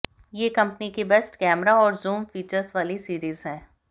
ये कंपनी की best camera और जूम फीचर्स वाली सीरीज है